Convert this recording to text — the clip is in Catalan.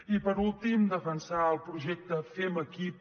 i per últim defensar el projecte fem equip